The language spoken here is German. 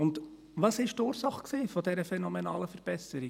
Was war die Ursache dieser phänomenalen Verbesserung?